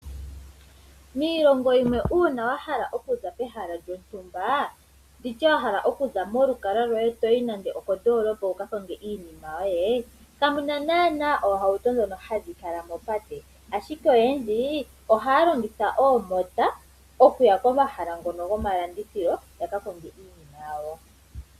Miilongo yimwe uuna wahala okuza pehala lyontumba nditye wahala okuza molukalwa lwoye toyi nande okondoolopa wuka konge iinima yoye, kamuna naana oohauto ndhono hadhi kala mopate, ashike oyendji ohaya longitha oomota/omapakapaka okuya komahala ngono goma landithilo ya ka konge iinima yawo.